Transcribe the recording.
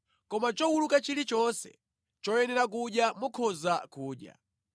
Koma chowuluka chilichonse choyenera kudya mukhoza kudya.